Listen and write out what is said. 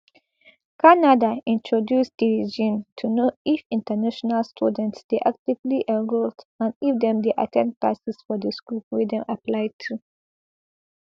canada introduce di regime to know if international students dey actively enrolled and if dem dey at ten d classes for di school wey dem apply to